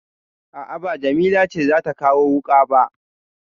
A'a ba Jamila ce za ta kawo wuƙa ba.